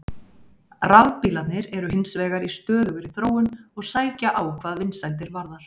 Rafbílarnir eru hins vegar í stöðugri þróun og sækja á hvað vinsældirnar varðar.